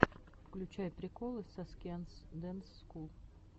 включай приколы саскианс дэнс скул